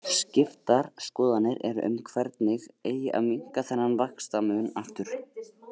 Skiptar skoðanir eru um hvernig eigi að minnka þennan vaxtamun aftur.